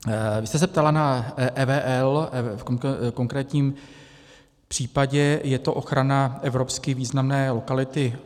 Vy jste se ptala na EVL, v konkrétním případě je to ochrana evropsky významné lokality